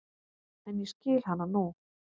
En ég skil hana nú.